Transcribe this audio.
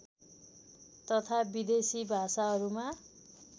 तथा विदेशी भाषाहरूमा